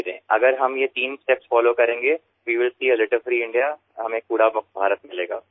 আমরা যদি এই তিনটি পর্যায় অনুসরণ করি তাহলেই আবর্জনা মুক্ত ভারতকেপাব